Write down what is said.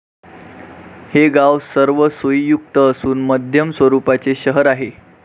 हे गाव सर्व सोईयुक्त असून मध्यम स्वरूपाचे शहर आहे